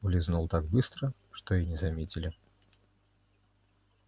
улизнул так быстро что и не заметили